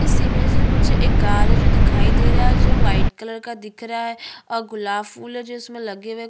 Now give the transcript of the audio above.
इस इमेज में मुझे एक कार है जो दिखाई दे रहा है जो व्हाइट कलर का दिख रहा है और गुलाब फूल है जो इसमें लगे हुए है।